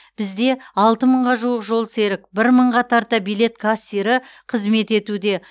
бізде алты мыңға жуық жолсерік бір мыңға тарта билет кассирі қызмет етуде